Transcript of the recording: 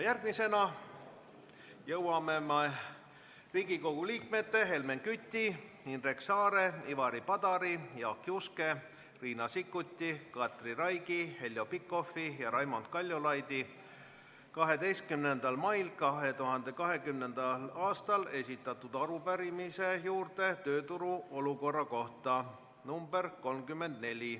Järgmisena jõuame Riigikogu liikmete Helmen Küti, Indrek Saare, Ivari Padari, Jaak Juske, Riina Sikkuti, Katri Raigi, Heljo Pikhofi ja Raimond Kaljulaidi 12. mail 2020. aastal esitatud arupärimise juurde tööturu olukorra kohta .